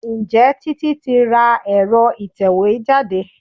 Ǹjẹ́ Títí tí ra èro ìtẹ̀wẹ́ jáde?